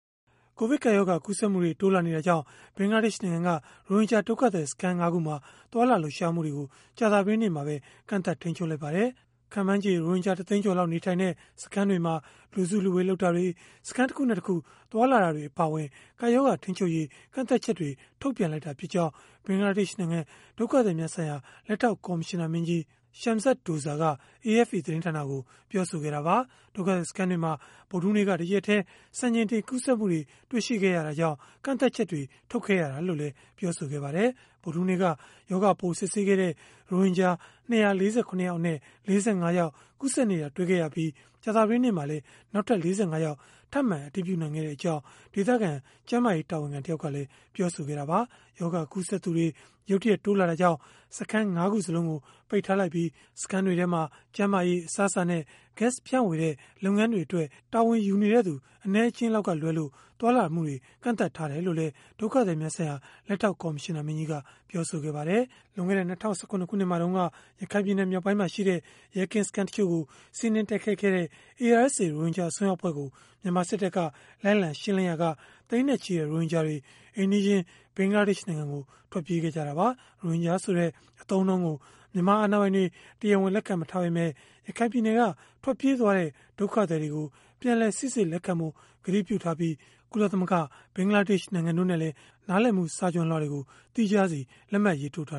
ကိုဗစ်ကပ်ရောဂါ ကူးစက်မှုတွေ တိုးလာနေတာကြောင့် ဘင်္ဂလားဒေ့ရှ်နိုင်ငံက ရိုဟင်ဂျာဒုက္ခသည်စခန်း ၅ ခုမှာ သွားလာလှုပ်ရှားမှုတွေကို ကြာသပတေးနေ့မှာပဲ ကန့်သတ် ထိန်းချုပ်လိုက်ပါတယ်။ ခန့်မှန်းချေ ရိုဟင်ဂျာ ၁ သိန်းကျော်လောက် နေထိုင်တဲ့ စခန်းတွေမှာ လူစုလူဝေး လုပ်တာတွေ၊ စခန်းတခုနဲ့တခု သွားလာတာတွေ အပါအဝင် ကပ်ရောဂါ ထိန်းချုပ်ရေး ကန့်သတ်ချက်တွေ ထုတ်ပြန်လိုက်တာဖြစ်ကြောင်း ဘင်္ဂလားဒေ့ရှ်နိုင်ငံ ဒုက္ခသည်များဆိုင်ရာ လက်ထောက် ကော်မရှင်နာမင်းကြီး Shamsud Douza က AFP သတင်းဌာနကို ပြောခဲ့တာပါ။ ဒုက္ခသည် စခန်းတွေမှာ ဗုဒ္ဓဟူးနေ့က တရက်တည်း စံချိန်တင် ကူးစက်မှုတွေ တွေ့ရှိခဲ့ရတာကြောင့် ကန့်သတ်ချက်တွေ ထုတ်ခဲ့ရတာလို့လည်း ပြောပါတယ်။ ဗုဒ္ဓဟူးနေ့က ရောဂါပိုး စစ်ဆေးခဲ့တဲ့ ရိုဟင်ဂျာ ၂၄၇ ယောက်အနက်၊ ၄၅ ယောက်မှာ ကူးစက်နေတာ တွေ့ရှိခဲ့ရပြီး၊ ကြာသပတေးနေ့မှာလည်း ၄၅ ယောက် ထပ်မံ အတည်ပြုနိုင်ခဲ့ကြောင်း ဒေသခံကျန်းမာရေး တာဝန်ခံ တယောက်ကလည်း ပြောဆိုခဲ့တာပါ။ ရောဂါကူးစက်သူတွေ ရုတ်တရက် တိုးလာတာကြောင့် စခန်း ၅ ခုစလုံးကို ပိတ်ထားလိုက်ပြီး၊ စခန်းတွေထဲမှာ ကျန်းမာရေး၊ အစားအစာနဲ့ ဂတ်စ် ဖြန့်ဝေတဲ့ လုပ်ငန်းတွေအတွက် တာဝန်ယူနေတဲ့သူ အနည်းအကျဉ်းလောက်ကလွဲလို့ သွားလာမှုတွေ ကန့်သတ်ထားတယ်လို့လည်း ဒုက္ခသည်များဆိုင်ရာ လက်ထောက် ကော်မရှင်နာမင်းကြီးက ပြောပါတယ်။ လွန်ခဲ့တဲ့ ၂၀၁၇ ခုနှစ်မှာတုန်းက ရခိုင်ပြည်နယ် မြောက်ပိုင်းမှာရှိတဲ့ ရဲကင်းစခန်းတချို့ကို စီးနင်းတိုက်ခိုက်ခဲ့တဲ့ ARSA ရိုဟင်ဂျာ အစွန်းရောက် အဖွဲ့ကို မြန်မာစစ်တပ်က လိုက်လံ ရှင်းလင်းရာက သိန်းနဲ့ချီတဲ့ ရိုဟင်ဂျာတွေ အိမ်နီးချင်း ဘင်္ဂလားဒေ့ရှ်နိုင်ငံကို ထွက်ပြေးခဲ့ကြတာပါ။ ရိုဟင်ဂျာဆိုတဲ့ အသုံးအနှုန်းကို မြန်မာအာဏာပိုင်တွေ တရားဝင် လက်ခံမထားပေမဲ့၊ ရခိုင်ပြည်နယ်က ထွက်ပြေးသွားတဲ့ ဒုက္ခသည်တွေကို ပြန်လည်စိစစ်လက်ခံဖို့ ကတိပြုထားပြီး၊ ကုလသမဂ္ဂ၊ ဘင်္ဂလားဒေ့ရှ် နိုင်ငံတို့နဲ့လည်း နားလည်မှု စာချွန်လွှာတွေ သီးခြားလက်မှတ်ရေးထိုး ထာ